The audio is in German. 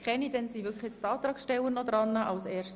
Somit haben die Antragsteller nochmals das Wort.